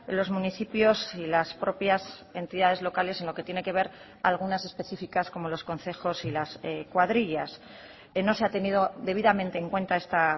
los municipios y las propias entidades locales en lo que tiene que ver algunas específicas como los concejos y las cuadrillas no se ha tenido debidamente en cuenta esta